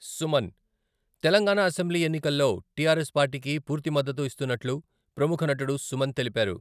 Suman, Telangana assembly ఎన్నికల్లో TRS పార్టీకి పూర్తి మద్దతు ఇస్తున్నట్లు ప్రముఖ నటుడు సుమన్ తెలిపారు.